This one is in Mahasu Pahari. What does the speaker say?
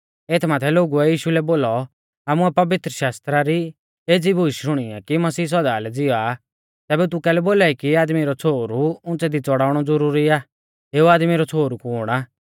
एथ माथै लोगुऐ यीशु लै बोलौ आमुऐ पवित्रशास्त्रा री एज़ी बूश शुणी आ कि मसीह सौदा लै ज़िवा तैबै तू कैलै बोलाई कि आदमी रौ छ़ोहरु उंच़ै दी च़ड़ाउणौ ज़ुरुरी आ एऊ आदमी रौ छ़ोहरु कुण आ